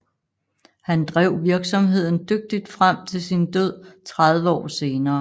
Han drev virksomheden dygtigt frem til sin død 30 år senere